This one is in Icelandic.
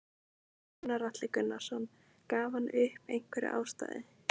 Gunnar Atli Gunnarsson: Gaf hann upp einhverja ástæðu?